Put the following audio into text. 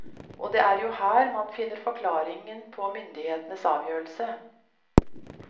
Og det er jo her man finner forklaringen på myndighetenes avgjørelse.